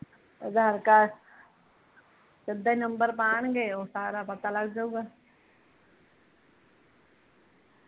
ਅਧਾਰ ਕਾਰਡ ਸਿਧਾ ਹੀਂ ਨੰਬਰ ਪਾਉਣਗੇ ਓਹ ਸਾਰਾ ਪਤਾ ਲੱਗ ਜਾਊਗਾ